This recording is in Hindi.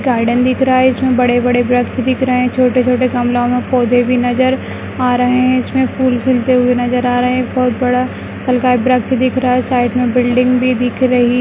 गार्डन दिख रहा है इसमें बड़े-बड़े वृक्ष दिख रहे हैं छोटे-छोटे गमलाओं में पौधे भी नजर आ रहे है इसमें फूल खिलते हुए नजर आ रहे हैं एक बहुत बड़ा वृक्ष दिख रहा है साइड में बिल्डिंग भी दिख रही --